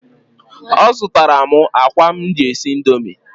Ọ zụtara m akwa m ji esi Indomie?